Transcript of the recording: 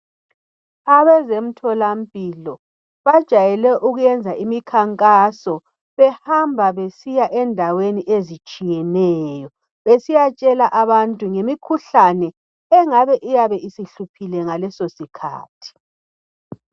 Abezemtholampilo bejay ukwenza imikhankaso behamba besiya endaweni ezitshiyeneyo besiyatshela abantu ngemikhuhlane engabe iyabe isihluphile ngaleso sikhathi.